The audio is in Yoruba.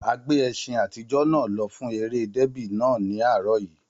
A gbé ẹṣin àtijọ́ náà lọ fún eré dẹ́bì náà ní àárọ̀ yìí